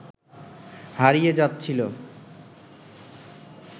হারিয়ে যাচ্ছিল